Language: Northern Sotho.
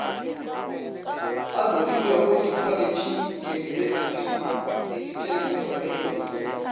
alogilego dikholetšheng diyunibesithing le ditheknikhoneng